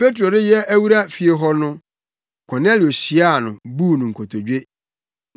Petro reyɛ awura fie hɔ no, Kornelio hyiaa no, buu no nkotodwe.